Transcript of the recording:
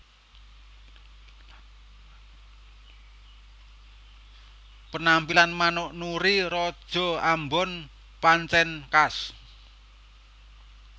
Penampilan manuk Nuri raja ambon pancèn khas